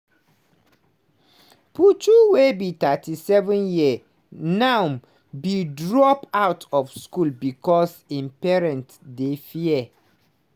puchu wey be 37 years now bin drop out of school becos im parents dey fear.